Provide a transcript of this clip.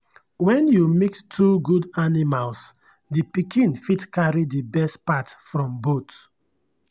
when you mix two good animals the pikin fit carry the best part from both.